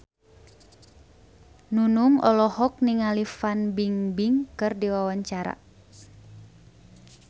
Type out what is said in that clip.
Nunung olohok ningali Fan Bingbing keur diwawancara